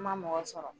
N ma mɔgɔ sɔrɔ